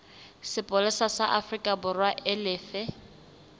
sepolesa sa aforikaborwa e lefe